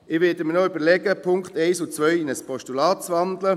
Ich werde mir noch überlegen, die Punkte 1 und 2 in ein Postulat zu wandeln.